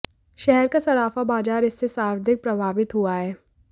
शहर का सराफा बाजार इससे सर्वाधिक प्रभाावित हुआ है